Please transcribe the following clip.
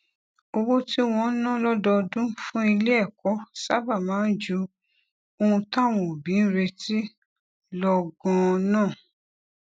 owó tí wón ń ná lódọọdún fún ilé èkó sábà máa ń ju ohun táwọn òbí ń retí lọ ganan